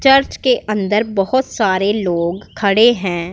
Church के अंदर बहुत सारे लोग खड़े हैं।